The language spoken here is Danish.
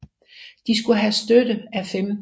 De skulle have støtte af 15